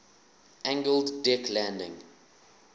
angled deck landing